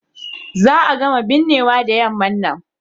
Za a gama binnewan da yamman nan.